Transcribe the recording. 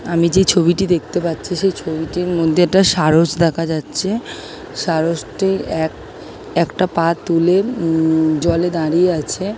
আমি যে ছবিটি দেখতে পাচ্ছি সেই ছবিটির মধ্যে এটা সারস দেখা যাচ্ছে সারাসটি এক একটা পা তুলে উম জলে দাঁড়িয়ে আছে।